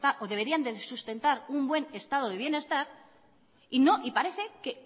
o deberían de sustentar un buen estado de bienestar y parece que